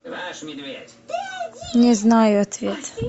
не знаю ответ